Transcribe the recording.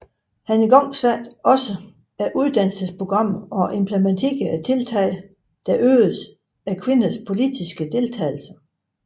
Han igangsatte også uddannelsesprogrammer og implementerede tiltage der øgede kvinders politiske deltagelse